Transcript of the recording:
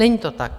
Není to tak.